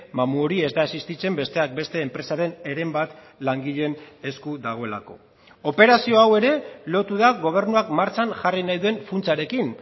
mamu hori ez da existitzen besteak beste enpresaren heren bat langileen esku dagoelako operazio hau ere lotu da gobernuak martxan jarri nahi duen funtsarekin